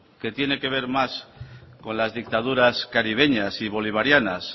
que tiene que ver más con las dictaduras caribeñas y bolivarianas